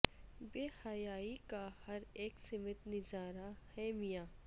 بے حیائی کا ہر اک سمت نظارا ہے میاں